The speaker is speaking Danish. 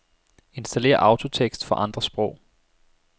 Installér autotekst for andre sprog.